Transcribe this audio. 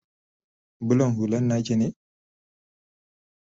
bulan hullan naki ne?